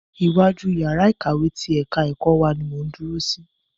Iwájú yàrá ìkàwé ti ẹ̀ka ẹ̀kọ́ wa ni mò ń dúró sí.